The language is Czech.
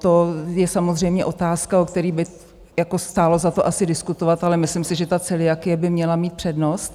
To je samozřejmě otázka, o který by stálo za to asi diskutovat, ale myslím si, že ta celiakie by měla mít přednost.